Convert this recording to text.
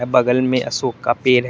बगल में अशोक का पेड़ है।